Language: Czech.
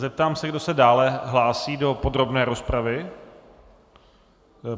Zeptám se, kdo se dále hlásí do podrobné rozpravy.